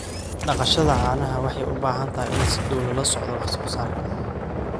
Dhaqashada caanaha waxay u baahan tahay in si dhow loola socdo wax soo saarka.